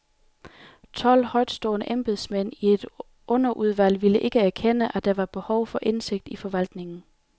Tolv højtstående embedsmænd i et underudvalg ville ikke erkende, at der var behov for indsigt i forvaltningen.